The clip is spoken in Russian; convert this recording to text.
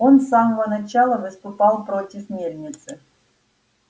он с самого начала выступал против мельницы